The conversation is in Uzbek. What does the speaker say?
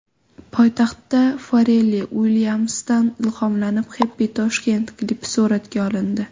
Poytaxtda Farrell Uilyamsdan ilhomlanib, Happy Tashkent klipi suratga olindi .